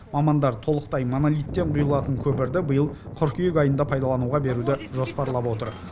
мамандар толықтай монолиттен құйылатын көпірді биыл қыркүйек айында пайдалануға беруді жоспарлап отыр